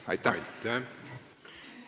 Aitäh!